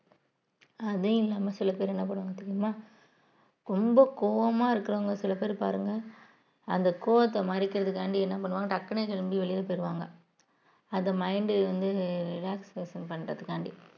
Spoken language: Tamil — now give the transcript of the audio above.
அதுவும் இல்லாம சில பேர் என்ன பண்ணுவாங்க தெரியுமா ரொம்ப கோவமா இருக்கிறவங்க சில பேர் பாருங்க அந்த கோவத்தை மறைக்கிறதுக்காக என்ன பண்ணுவாங்க டக்குன்னு கிளம்பி வெளியில போயிடுவாங்க அந்த mind வந்து relaxation பண்றதுக்காண்டி